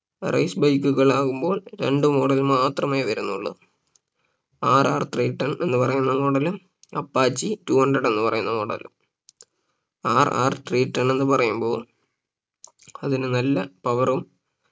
Race bike കളാകുമ്പോൾ രണ്ട് model മാത്രമേ വരുന്നുള്ളൂ RR Three ten എന്ന് പറയുന്ന model ഉം Apache two hundred എന്ന് പറയുന്ന model ഉം RR Three ten എന്ന് പറയുമ്പോ അതിന് നല്ല power ഉം